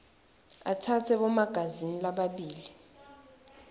atsatse bomagazini lababili